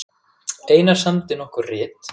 Einar samdi nokkur rit